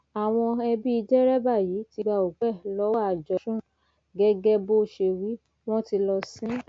àwọn ẹbí dẹrẹbà yìí ti gba òkú ẹ lọwọ àjọ trun gẹgẹ bó ṣe wí wọn tí lọọ sìn ín